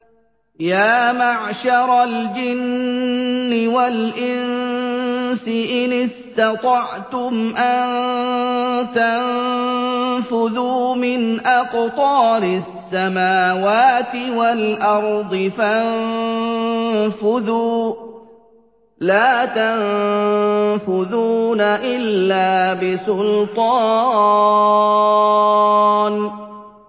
يَا مَعْشَرَ الْجِنِّ وَالْإِنسِ إِنِ اسْتَطَعْتُمْ أَن تَنفُذُوا مِنْ أَقْطَارِ السَّمَاوَاتِ وَالْأَرْضِ فَانفُذُوا ۚ لَا تَنفُذُونَ إِلَّا بِسُلْطَانٍ